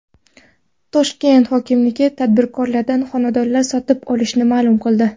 Toshkent hokimligi tadbirkorlardan xonadonlar sotib olishini ma’lum qildi.